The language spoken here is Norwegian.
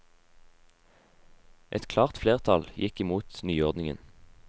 Et klart flertall gikk imot nyordningen.